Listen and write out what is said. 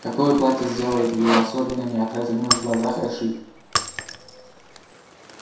какое платье сделает её особенно неотразимой в глазах эшли